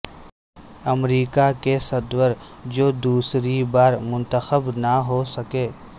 امریکہ کے صدور جو دوسری بار منتخب نہ ہو سکے